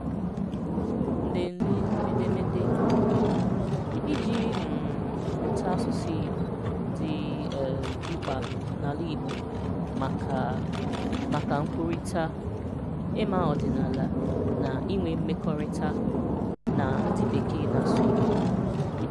Ǹlele édémedé: Ị́ji um mụ̀tà àsụ̀sụ̀ Ìgbò dị̀ um mkpa n’Àlà Ìgbò maka maka nkwurịtà, ị́mà ọdị̀nàlà, na inwè mmekọ̀rịtà na ndị̀ Bekèe na-asụ̀ Ìgbò